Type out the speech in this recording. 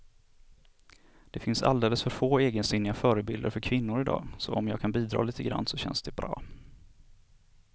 Det finns alldeles för få egensinniga förebilder för kvinnor i dag, så om jag kan bidra lite grann så känns det bra.